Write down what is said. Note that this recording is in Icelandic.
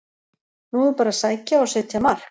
Nú er bara að sækja og setja mark!